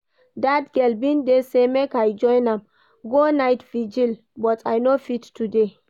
That girl bin dey say make I join am go night vigil but I no fit today